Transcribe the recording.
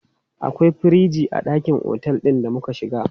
Akwai firiji a ɗakin otel ɗin da muka shiga.